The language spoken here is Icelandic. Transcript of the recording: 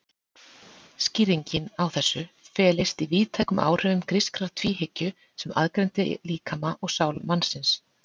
Skýringin á þessu felist í víðtækum áhrifum grískrar tvíhyggju sem aðgreindi líkama og sál mannsins.